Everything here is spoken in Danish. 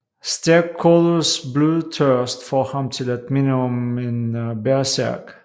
Stærkodders blodtørst får ham til at minde om en bersærk